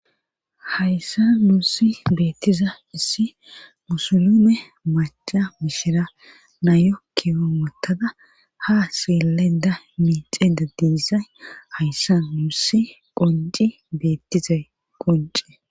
hayssa nuussi beettiza issi musulume maca mishira nayo kiwon motada ha seele da miixeda diisay hayssa nuussi qonci beettizay qunce